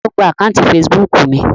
Ta ló gba àkáùntì fesibúùkù mi?